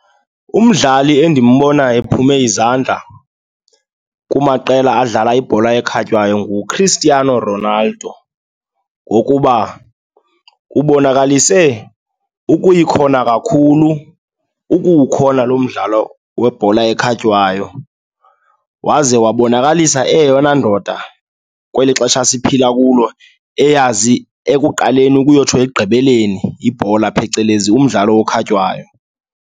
Umdlali endimbonayo ephume izandla kumaqela adlala ibhola ekhatywayo nguChristiano Ronaldo ngokuba ubonakalise ukuyikhona kakhulu ukuwukhona lo mdlalo webhola ekhatywayo, waze wabonakalisa eyeyona ndoda kweli xesha siphila kulo eyazi ekuqaleni ukuyotsho ekugqibeleni ibhola, phecelezi umdlalo ekhatywayo.